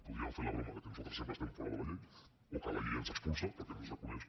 podríem fer la broma que nosaltres sempre estem fora de la llei o que la llei ens expulsa perquè no ens reconeix